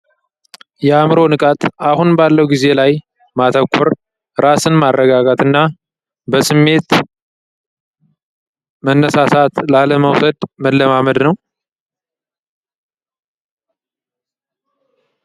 የአእምሮ ንቃት አሁን ባለው ጊዜ ላይ ማተኩር ራስን ማረጋጋትና በስሜት መነሳሳት ላለመውለድ መለማመድ ነው።